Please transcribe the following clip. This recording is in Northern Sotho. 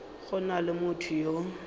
go na le motho yo